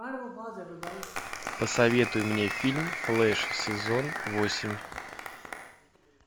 посоветуй мне фильм флэш сезон восемь